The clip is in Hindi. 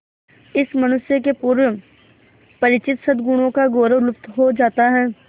इस मनुष्य के पूर्व परिचित सदगुणों का गौरव लुप्त हो जाता है